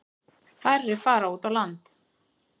Færri fara út á land.